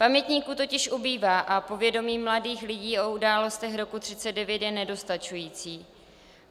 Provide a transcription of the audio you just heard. Pamětníků totiž ubývá a povědomí mladých lidí o událostech roku 1939 je nedostačující.